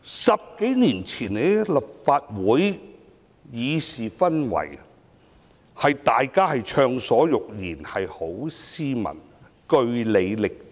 十多年前的立法會的議事氛圍是大家暢所欲言，十分斯文，據理力爭。